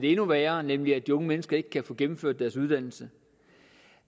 er endnu værre nemlig at de unge mennesker ikke kan få gennemført deres uddannelse